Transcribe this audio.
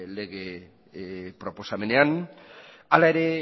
lege proposamenean hala ere